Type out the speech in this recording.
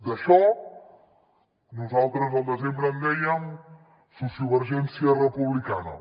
d’això nosaltres al desembre en dèiem sociovergència republicana